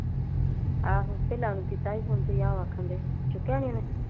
ਤੇ ਆਹੋ ਮੈ ਵੀ ਕੀਤਾ ਸੀ Phone । ਤੇ ਤੁਸੀਂ ਆਖਣ ਡਾਈ ਚੁੱਕਿਆਂ ਨਹੀਂ ਉਹਨੇ।